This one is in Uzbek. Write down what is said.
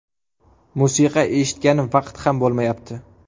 Musiqa eshitgani vaqt ham bo‘lmayapti.